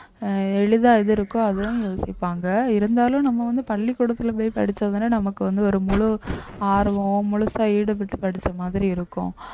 அஹ் எளிதா எது இருக்கோ அதுவும் யோசிப்பாங்க இருந்தாலும் நம்ம வந்து பள்ளிக்கூடத்துல போய் படிச்சாதானே நமக்கு வந்து ஒரு முழு ஆர்வம் முழுசா ஈடுபட்டு படிச்ச மாதிரி இருக்கும்